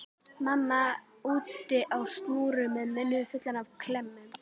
Mamma úti á snúru með munninn fullan af klemmum.